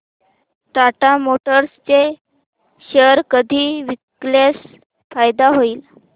Tata Motors चे share कधी विकल्यास फायदा होईल